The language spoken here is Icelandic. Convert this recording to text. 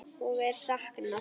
Og er saknað.